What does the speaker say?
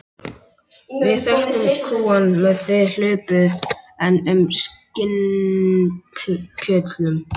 Við þekktum kúgun meðan þið hlupuð enn um í skinnpjötlum.